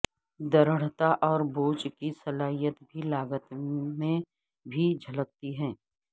درڑھتا اور بوجھ کی صلاحیت بھی لاگت میں بھی جھلکتی ہے